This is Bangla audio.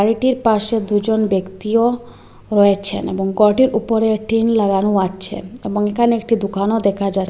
গাড়িটির পাশে দুজন ব্যক্তিও রয়েছেন এবং গরটির ওপরে টিন লাগানো আছে এবং এখানে একটি দোকানও দেখা যা--